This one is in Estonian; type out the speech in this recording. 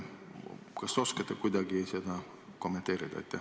Kas te oskate seda kuidagi kommenteerida?